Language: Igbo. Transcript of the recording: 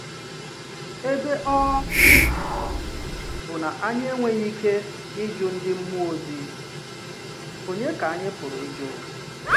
Ebe ọ̀ bụ na anyị enweghị ike ịjụ ndị mmụọ ozi, ònye ka anyị pụrụ ịjụ?